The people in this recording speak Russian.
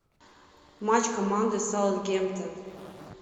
матч команды саутгемптон